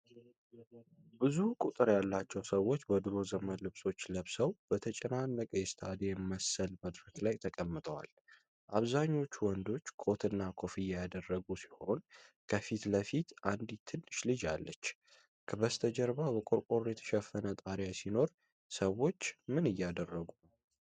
ብዙ ቁጥር ያላቸው ሰዎች በድሮ ዘመን ልብሶች ለብሰው፣ በተጨናነቀ የስታዲየም መሰል መድረክ ላይ ተቀምጠዋል። አብዛኞቹ ወንዶች ኮትና ኮፍያ ያደረጉ ሲሆን፣ ከፊት ለፊት አንዲት ትንሽ ልጅ አለች። በስተጀርባ በቆርቆሮ የተሸፈነ ጣሪያ ሲኖር፣ ሰዎች ምን እያደረጉ ነው?